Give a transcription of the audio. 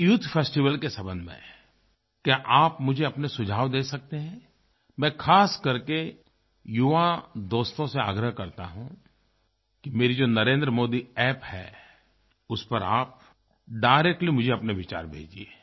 इस youth festival के संबंध में क्या आप मुझे अपने सुझाव दे सकते हैं मैं ख़ास कर के युवा दोस्तों से आग्रह करता हूँ कि मेरी जो नरेंद्र मोदी अप्प है उस पर आप डायरेक्टली मुझे अपने विचार भेजिए